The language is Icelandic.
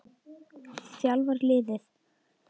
þjálfar liðið.